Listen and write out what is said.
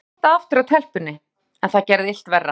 Ég reyndi að halda aftur af telpunni, en það gerði illt verra.